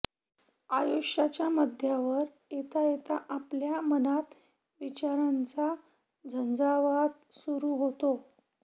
आयुष्याच्या मध्यावर येता येता आपल्या मनात विचारांचा झंजावात सुरू होतो